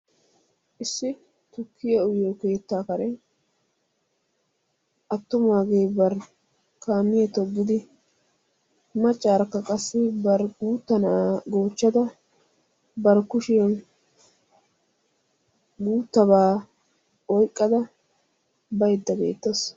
Issi tukkiya uyiyoo keettaa karen attumaage bar kaamiyaa toggidi maccaara bar guutta na'aa goochchada bar kushshiyaan guuttaba oyqada baydda beettaawusu.